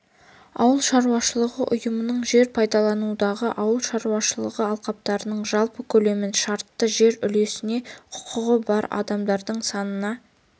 ауыл шаруашылығы ұйымының жер пайдалануындағы ауыл шаруашылығы алқаптарының жалпы көлемін шартты жер үлесіне құқығы бар адамдардың санына